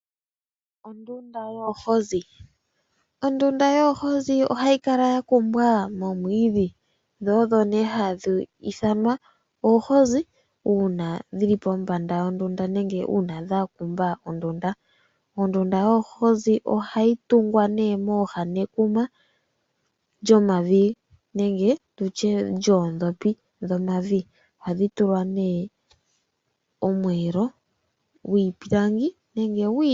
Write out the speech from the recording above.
Ondunda yoohozi. Ondunda yoohozi ohayikala yakumbwa momwiidhi dho odho nee hadhi ithanwa oohozi uuna dhili pombanda yondunda nenge uuna dhakumba ondunda. Ondunda yoohozi ohayi tungwa nee mooha dhekuna lyomavi nenge lyoondhopi dhomavi . Ohadhi tulwa nee omweeelo gwiipilangi nenge gwiiti.